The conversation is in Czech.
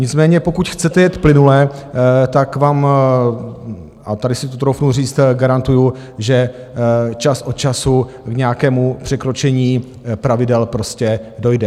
Nicméně pokud chcete jet plynule, tak vám, a tady si to troufnu říct, garantuju, že čas od času k nějakému překročení pravidel prostě dojde.